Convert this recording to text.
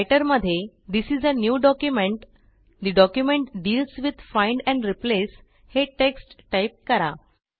writer मध्ये this is a new documentठे document deals with find and replace हे text type करा